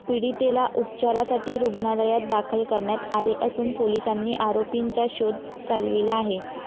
पीडितेला उपचारासाठी रुग्णालयात दाखल करण्यात आले असून पोलिसांनी आरोपींचा शोध चालविला आहे.